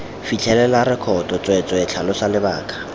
fitlhelela rekoto tsweetswee tlhalosa lebaka